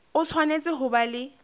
o tshwanetse ho ba le